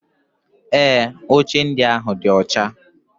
Ee, oche ndị ahụ dị ọcha.